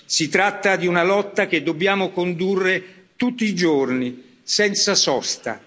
Si tratta di una lotta che dobbiamo condurre tutti i giorni, senza sosta.